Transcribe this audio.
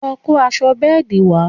lọ kó aṣọ bẹ́ẹ̀dì wa